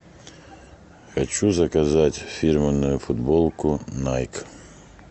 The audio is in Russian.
хочу заказать фирменную футболку найк